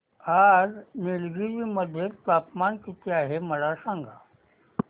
आज निलगिरी मध्ये तापमान किती आहे मला सांगा